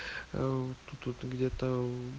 тут где-то